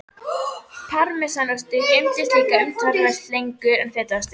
Parmesanostur geymist líka umtalsvert lengur en fetaostur.